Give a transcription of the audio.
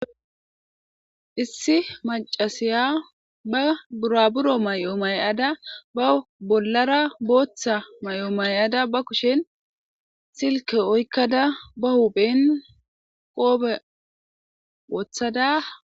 issi macasiya ba buraburo may7o mayada ba bollara booththa may7o may7ada ba kushen silke oykkada ba hupen qoobe wooththada